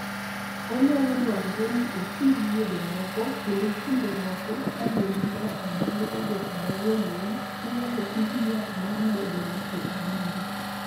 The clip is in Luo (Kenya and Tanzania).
Onyalo dwarore ni oti gi yedhe moko, kendo kinde moko, ka dendi mar adundo odoko mayomyom, inyalo ti gi yath mar medo ng'ato adundo.